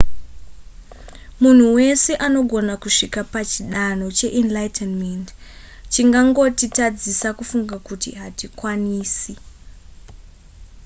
munhu wese anogona kusvika pachidanho cheenlightenment chingangotitadzisa kufunga kuti hatikwanisi